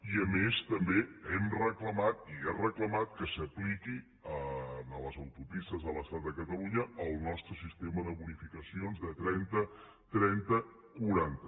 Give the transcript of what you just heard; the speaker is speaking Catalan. i a més també hem reclamat i ha reclamat que s’apliqui a les autopistes de l’estat a catalunya el nostre sistema de bonificacions de trenta quaranta